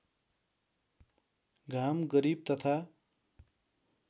घाम गरिब तथा